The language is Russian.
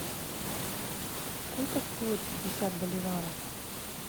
сколько стоит пятьдесят боливаров